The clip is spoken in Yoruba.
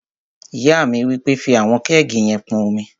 Ìyá mi wí pé, "fí àwọn kẹ́ẹ̀gì yẹn pọn omi!"